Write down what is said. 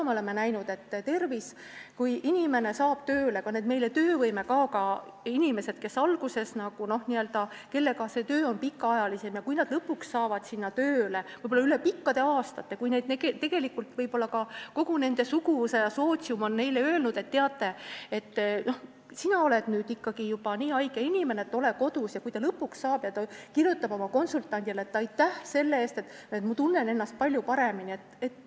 Me oleme näinud, et kui inimene saab tööle, ka töövõimekaoga inimene, kellega see töö on pikaajalisem, ja kui ta lõpuks saab tööle, võib-olla üle pikkade aastate, kui suguvõsa ja sootsium on talle kogu aeg öelnud, et ta on ikka nii haige, et olgu kodus, aga kui ta lõpuks tööle saab, siis ta kirjutab oma konsultandile, et aitäh selle eest, ta tunneb ennast palju paremini.